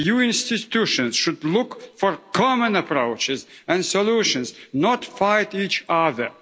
EU institutions should look for common approaches and solutions, not fight each other.